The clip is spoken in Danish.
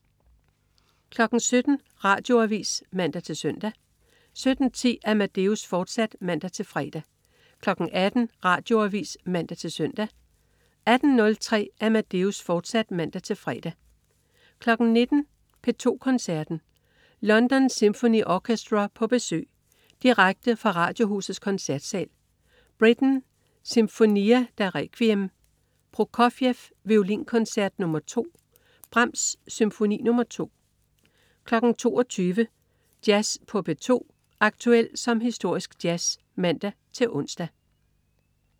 17.00 Radioavis (man-søn) 17.10 Amadeus, fortsat (man-fre) 18.00 Radioavis (man-søn) 18.03 Amadeus, fortsat (man-fre) 19.00 P2 Koncerten. London Symphony Orchestra på besøg. Direkte fra Radiohusets Koncertsal. Britten: Sinfonia da Requiem. Prokofjev: Violinkoncert nr. 2. Brahms: Symfoni nr. 2 22.00 Jazz på P2. Aktuel som historisk jazz (man-ons)